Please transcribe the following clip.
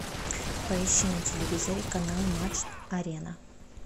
поищи на телевизоре канал матч арена